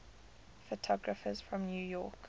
photographers from new york